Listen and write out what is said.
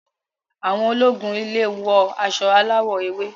Àwọn ológun ile wọ aṣọ aláwò ewé.